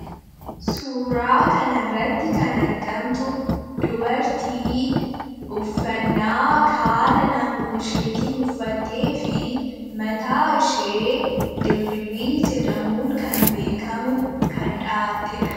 Suuraa kanarrattii kan argamtu dubartii uffannaa haala naannoo isheetiin uffattee fi mataashee dirribii jedhamuun kan beekamu kan dhahattedha.